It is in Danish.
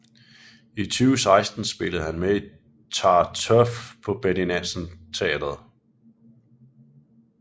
I 2016 spillede han med i Tartuffe på Betty Nansen Teatret